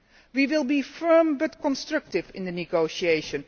We will be firm, but constructive in the negotiations.